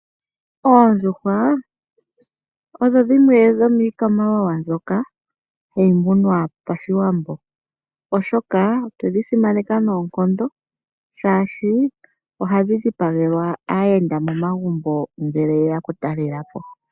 Oondjuhwa odho dhimwe dhomikwamawawa mbyoka hayi munwa paShiwambo oshoka otwe dhi simaneka noonkondo shashi oha dhi dhipagelwa aayenda momagumbo ngele ye ya okutalela po.